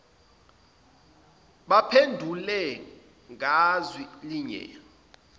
baphendule ngazwi linye